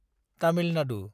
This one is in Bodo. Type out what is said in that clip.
तामिल नादु